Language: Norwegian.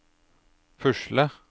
pusle